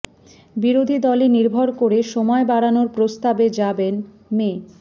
বিরোধী দলে নির্ভর করে সময় বাড়ানোর প্রস্তাবে যাবেন মে